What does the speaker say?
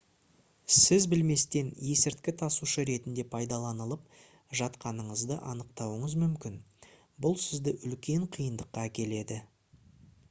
сіз білместен есірткі тасушы ретінде пайдаланылып жатқаныңызды анықтауыңыз мүмкін бұл сізді үлкен қиындыққа әкеледі